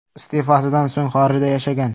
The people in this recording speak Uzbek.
Iste’fosidan so‘ng xorijda yashagan.